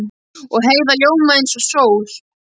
Og Heiða ljómaði eins og sól.